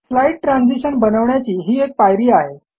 slide transition बनवण्याची ही एक पायरी आहे